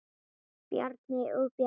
Bjarni og Bjarni